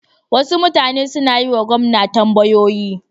Wasu mutane sun yi wa gwamna tambayoyi.